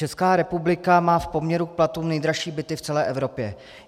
Česká republika má v poměru k platům nejdražší byty v celé Evropě.